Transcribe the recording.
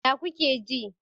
Ya kuke ji?